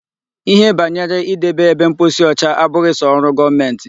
Ihe banyere idebe ebe mposi ọcha abụghị sọ ọrụ gọọmenti.